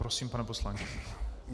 Prosím, pane poslanče.